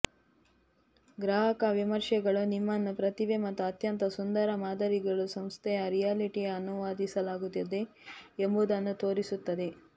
ಗ್ರಾಹಕ ವಿಮರ್ಶೆಗಳು ನಿಮ್ಮನ್ನು ಪ್ರತಿಭೆ ಮತ್ತು ಅತ್ಯಂತ ಸುಂದರ ಮಾದರಿಗಳು ಸಂಸ್ಥೆಯು ರಿಯಾಲಿಟಿ ಅನುವಾದಿಸಲಾಗುತ್ತದೆ ಎಂಬುದನ್ನು ತೋರಿಸುತ್ತದೆ